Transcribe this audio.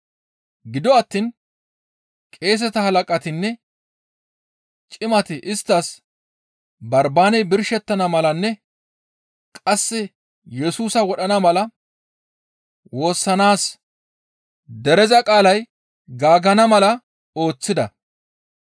Gido attiin qeeseta halaqatinne cimati isttas Barbaaney birshettana malanne qasse Yesusa wodhana mala woossanaas dereza qaalay gaaggana mala ooththida.